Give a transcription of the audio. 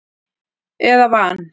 eða van.